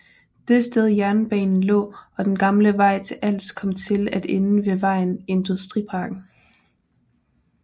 Det sted jernbanen lå og den gamle vej til Als kom til at ende ved vejen Industriparken